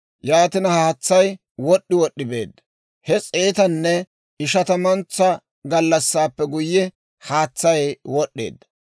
Yaatina haatsay wod'd'i wod'd'i beedda. He s'eetanne ishatamuntsa gallassaappe guyye, haatsay wod'd'eedda.